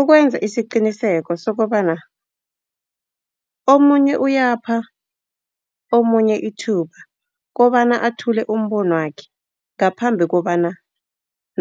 Ukwenza isiqiniseko sokobana omunye uyapha omunye ithuba, kobana athule umbono wakhe, ngaphambi kobana